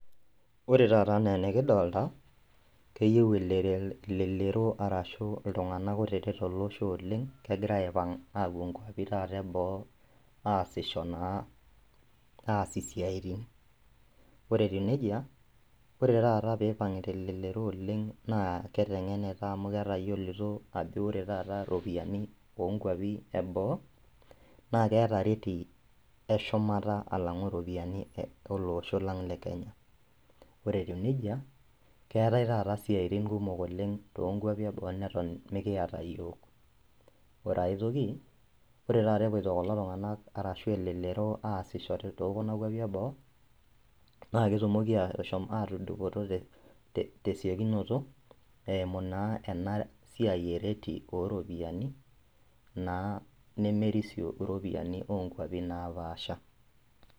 Ore taata anaa enikidolta, keyeu elelero arashu iltung'ana kutitik tolosho oleng' kegira aipang' apuo nkuapi taata eboo aasisho naa aas isiaitin. Ore etiu neijia ore tata peipang'ita elelero oleng' naa keteng'enita amu ketayiolito ajo ajo ore tata ropiani onkuapi eboo naakeeta reti eshumata alang'u iropiani eh olosho lang' le kenya. Ore etiu neija keetai taata isiaitin kumok oleng' toonkuapi eboo neton meikiata iyiok. Ore ai toki ore tata epuoito kulo tung'anak arashu elelero aassho tookuna kuapi eboo naaketumoki ashom atudupoto [te-te] tesiokinoto eimu naa enasiai ereti ooropiani naa nemerisio iropiani oonkuapin naapaasha.